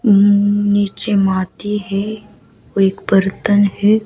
नीचे माटी है कोई एक बर्तन है।